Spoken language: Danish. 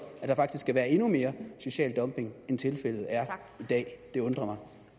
at der faktisk skal være endnu mere social dumping end tilfældet er i dag det undrer